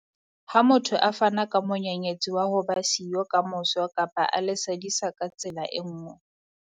Ha motho a fana ka monyenyetsi wa ho ba siyo kamoso kapa a le sadisa ka tsela e nngwe.